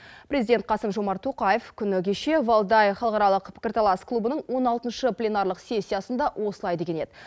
президент қасым жомарт тоқаев күні кеше валдай халықаралық пікірталас клубының он алтыншы пленарлық сессиясында осылай деген еді